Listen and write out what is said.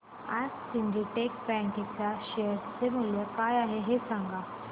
आज Syndicate bank च्या share चे मूल्य काय आहे हे सांगा